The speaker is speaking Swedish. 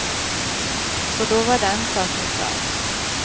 Så då var den saken klar.